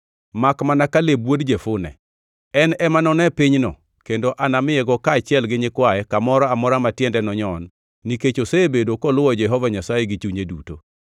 makmana Kaleb wuod Jefune. En ema none pinyno kendo anamiyego kaachiel gi nyikwaye kamoro amora ma tiende nonyon nikech osebedo koluwo Jehova Nyasaye gi chunye duto.”